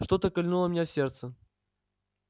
что-то кольнуло меня в сердце